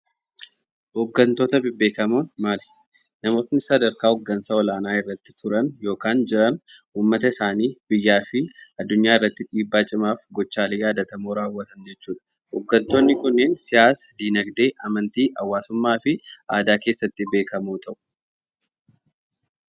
Hooggantoota bebbeekamoon maali? Namoonni sadarkaa hooggansaa olaana irratti turan yokan jiran uummata isaanii biyyaa fi addunyaarratti dhiibbaa cimaaf gochaalee yaadatamoo raawwatan jechuudha. Hooggantoonni kunniin siyaasa, diinagdee, amantii, hawaasummaa fi aadaa keessatti beekamoo ta'u.